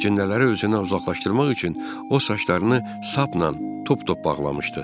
Əcinlərə özünü uzaqlaşdırmaq üçün o saçlarını sapla tuptup bağlamışdı.